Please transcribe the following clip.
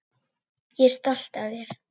Ég er stolt af þér.